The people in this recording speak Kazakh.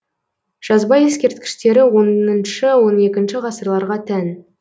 жазба ескерткіштері оныншы он екінші ғасырларға тән